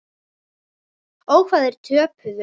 Ó, hvað þeir töpuðu.